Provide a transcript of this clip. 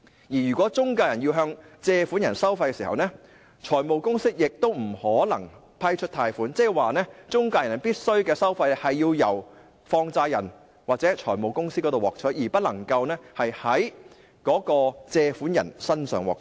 如果中介公司要向借款人收費，財務公司亦不能批出貸款，即是中介公司的收費必須從放債人或財務公司獲取，而不能夠在借款人身上獲取。